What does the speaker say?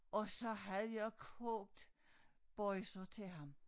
Og så havde jeg kogt boisa til ham